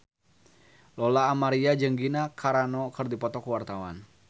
Lola Amaria jeung Gina Carano keur dipoto ku wartawan